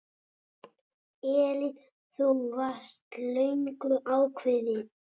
Elín: Þú varst löngu ákveðin?